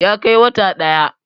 ya Kai wata ɗaya